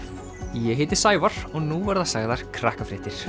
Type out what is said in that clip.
ég heiti Sævar og nú verða sagðar